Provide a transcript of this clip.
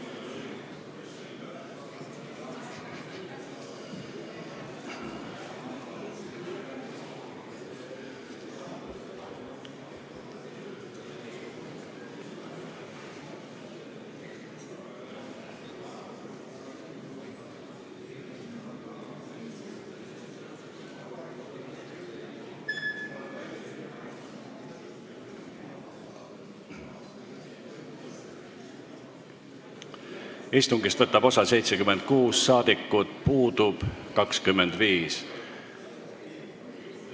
Kohaloleku kontroll Istungist võtab osa 76 saadikut, puudub 25.